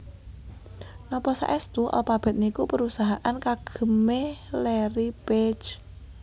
Nopo saestu Alphabet niku perusahaan kagem e Larry Page?